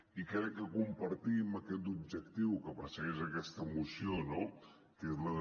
i crec que compartim aquest objectiu que persegueix aquesta moció no que és el de